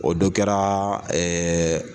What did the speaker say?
O dɔn kɛra